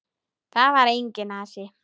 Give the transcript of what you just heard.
Þar var enginn asi.